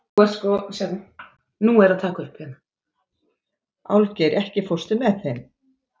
Álfgeir, ekki fórstu með þeim?